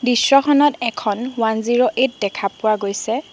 দৃশ্যখনত এখন one zero eight দেখা পোৱা গৈছে।